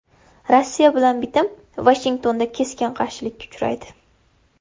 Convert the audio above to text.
Rossiya bilan bitim Vashingtonda keskin qarshilikka uchraydi.